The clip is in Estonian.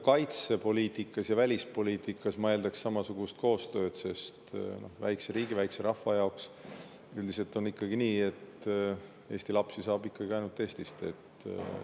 Kaitsepoliitikas ja välispoliitikas ma eeldaks samasugust koostööd, sest väikse riigi, väikse rahva jaoks üldiselt on ikkagi nii, et Eesti lapsi saab ainult Eestist.